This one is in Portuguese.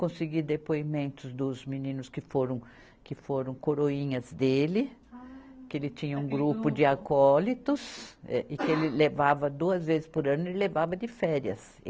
Consegui depoimentos dos meninos que foram, que foram coroinhas dele. Ah. Que ele tinha um grupo de acólitos eh, e que ele levava duas vezes por ano e levava de férias.